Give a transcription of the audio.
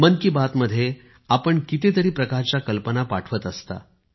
मन की बात मध्ये आपण कितीतरी प्रकारच्या कल्पना पाठवत असता